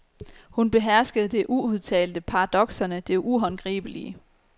Hun beherskede det uudtalte, paradokserne, det uhåndgribelige.